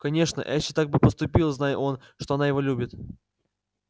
конечно эшли так бы поступил знай он что она его любит